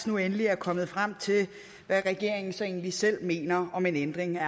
nu endelig er kommet frem til hvad regeringen egentlig selv mener om en ændring af